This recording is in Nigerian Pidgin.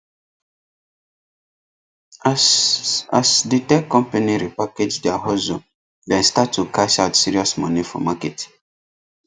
as as the tech company repackage their hustle dem start to cash out serious money for market